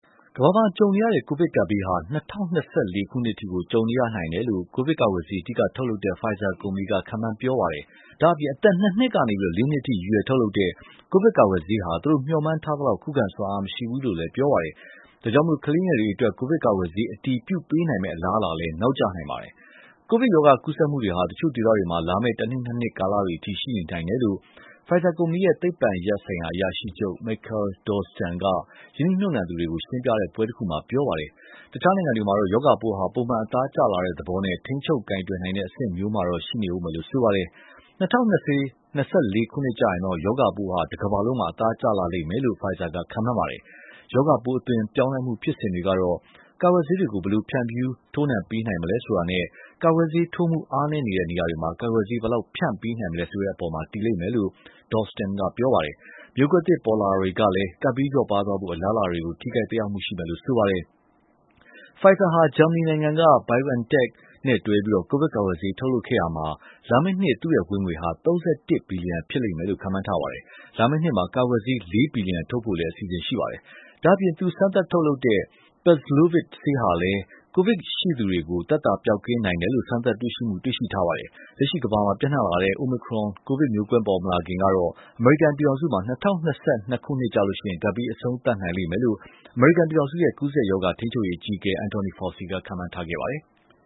ကမ္ဘာမှာ ကြုံနေရတဲ့ ကိုဗစ်ကပ်ဘေးဟာ ၂၀၂၄ ခုနှစ်အထိ ကြုံနေရနိုင်တယ်လို့ ကိုဗစ်ကာကွယ်ဆေး အဓိကထုတ်လုပ်နေတဲ့ Pfizer ကုမ္ပဏီက ခန့်မှန်းပြောဆိုပါတယ်။ ဒါ့အပြင် အသက် ၂ နှစ်ကနေ ၄ နှစ်အထိ ရည်ရွယ်ထုတ်လုပ်တဲ့ ကိုဗစ်ကာကွယ်ဆေးဟာ သူတို့ မျှော်မှန်းထားသလောက် ခုခံစွမ်းအား မရှိဘူးလို့လည်း ပြောပါတယ်။ ဒါကြောင့် ကလေးငယ်တွေအတွက် ကိုဗစ်ကာကွယ်ဆေး အတည်ပြုပေးနိုင်မယ့် အလားအလာလည်း နောက်ကျနိုင်ပါတယ်။ ကိုဗစ်ရောဂါ ကူးစက်မှုတွေဟာ တချို့ဒေသတွေမှာ လာမယ့် ၁ နှစ်၊ ၂ နှစ် ကာလတွေအထိ ရှိနေနိုင်တယ်လို့ Pfizer ကုမ္ပဏီရဲ့ သိပ္ပံရပ်ဆိုင်ရာ အရာရှိချုပ် Mikael Dolsten က ရင်းနှီးမြှုပ်နှံသူတွေကို ရှင်းပြတဲ့ပွဲတခုမှာ ပြောဆိုပါတယ်။ တခြားနိုင်ငံတွေမှာတော့ ရောဂါပိုးဟာ ပုံမှန် အသားကျလာတဲ့သဘောနဲ့ ထိန်းချုပ်ကိုင်တွယ်နိုင်တဲ့ အဆင့်မျိုးမှာတော့ ရှိနေဦးမယ်လို့ ဆိုပါတယ်။ ၂၀၂၄ ခုနှစ်ကျရင်တော့ ရောဂါပိုးဟာ တကမ္ဘာလုံးမှာ အသားကျလာမယ်လို့ Pfizer က ခန့်မှန်းပါတယ်။ ရောဂါပိုး အသွင်ပြောင်းလဲမှု ဖြစ်စဉ်တွေကတော့ ကာကွယ်ဆေးတွေကို ဘယ်လိုဖြန့်ဖြူး ထိုးနှံပေးနိုင်မလဲ ဆိုတာနဲ့ ကာကွယ်ဆေးထိုးမှု အားနည်းနေတဲ့ နေရာတွေမှာ ကာကွယ်ဆေး ဘယ်လောက်ဖြန့်ပေးနိုင်မလဲ ဆိုတာတွေပေါ် တည်မယ်လို့လည်း Dolsten က ပြောပါတယ်။ မျိုးကွဲသစ် ပေါ်လာတာတွေကလည်း ကပ်ဘေးလျော့ပါးသွားဖို့ အလားအလာတွေကို ထိခိုက် သက်ရောက်မယ်လို့ ဆိုပါတယ်။ Pfizer ဟာ ဂျာမနီနိုင်ငံက BioNTech SE နဲ့တွဲပြီး ကိုဗစ်ကာကွယ်ဆေး ထုတ်လုပ်ခဲ့ရာမှာ လာမယ့်နှစ် သူ့ဝင်ငွေဟာ ၃၁ ဘီလီယံဖြစ်မယ်လို့ ခန့်မှန်းပါတယ်။ လာမယ့်နှစ်မှာ ကာကွယ်ဆေး ၄ ဘီလီယံ ထုတ်ဖို့လည်း အစီအစဉ် ရှိပါတယ်။ ဒါ့အပြင် သူစမ်းသပ်ထုတ်လုပ်တဲ့ Paxlovid ဆေးဟာလည်း ကိုဗစ်ရောဂါရှိသူတွေကို သက်သာပျောက်ကင်းနိုင်တယ်လို့ စမ်းသပ်တွေ့ရှိမှုတွေ ရှိထားတာပါ။ လက်ရှိ ကမ္ဘာမှာ ပျံ့နှံ့လာတဲ့ Omicron ကိုဗစ်မျိုးကွဲ ပေါ်မလာခင်ကတော့ အမေရိကန်ပြည်ထောင်စုမှာ ၂၀၂၂ ခုနှစ်ကျရင် ကပ်ဘေး အဆုံးသတ်နိုင်မယ်လို့ အမေရိကန်ပြည်ထောင်စုရဲ့ ကူးစက်ရောဂါထိန်းချုပ်ရေး အကြီးအကဲ Anthony Fauci က ခန့်မှန်းထားခဲ့ပါတယ်။